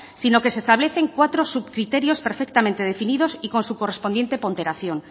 sino que se establecen cuatro subcriterios perfectamente definidos y con su correspondiente ponderación